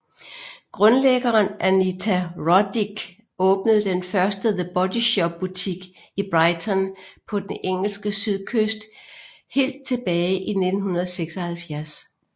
Grundlæggeren Anita Roddick åbnede den første The Body Shop butik i Brighton på den engelske sydkyst helt tilbage i 1976